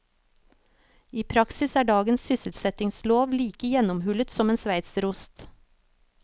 I praksis er dagens sysselsettingslov like gjennomhullet som en sveitserost.